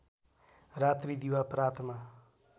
रात्री दिवा प्रातमा